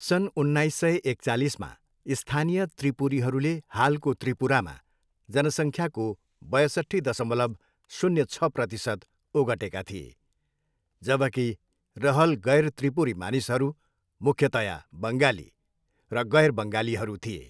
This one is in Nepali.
सन् उन्नाइस सय एकचालिसमा, स्थानीय त्रिपुरीहरूले हालको त्रिपुरामा जनसङ्ख्याको बयसट्ठी दसमलव शून्य छ प्रतिशत ओगटेका थिए जबकि रहल गैर त्रिपुरी मानिसहरू, मुख्यतया बङ्गाली र गैर बङ्गालीहरू थिए।